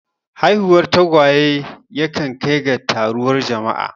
Haihuwar tagwaye yakan kai ga taruwar jama'a.